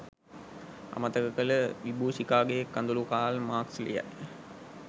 අමතක කළ විබූෂිකාගේ කඳුළුකාල් මාක්ස් ලියයි.